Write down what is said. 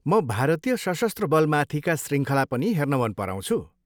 म भारतीय सशस्त्र बलमाथिका शृङ्खला पनि हेर्न मन पराउँछु।